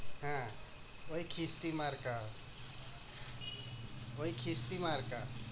হ্যাঁ ঐ খিস্তি মার্কা, ঐ খিস্তি মার্কা।